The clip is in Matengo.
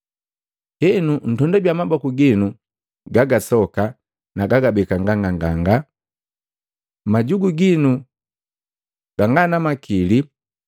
Henu, ntondabia maboku ginu ga gasoka na kugabeka nganganga majugu ginu ga nga na makili!